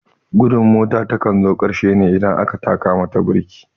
Gudun mota takan zo karshe ne idan aka taka mata birki